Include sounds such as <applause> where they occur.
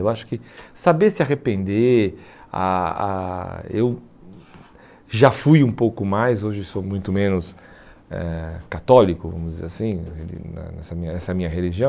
Eu acho que saber se arrepender, a a eu já fui um pouco mais, hoje sou muito menos eh católico, vamos dizer assim, <unintelligible> nessa minha religião,